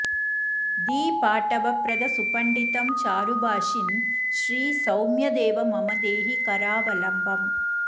धीपाटवप्रद सुपंडित चारुभाषिन् श्री सौम्यदेव मम देहि करावलम्बम्